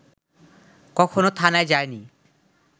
কখনো থানায় যায়নি